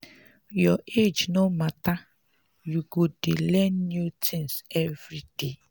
your age no mata you go dey learn new tins everyday.